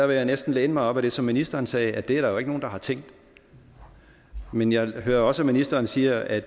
vil jeg næsten læne mig op ad det som ministeren sagde nemlig at det er der jo ikke nogen der har tænkt men jeg hører også at ministeren siger at